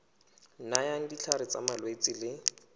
nayang ditlhare tsa malwetse le